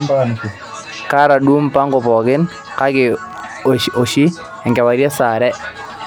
kaata duo mpango pooki ake too sahi enkewarie taa saa are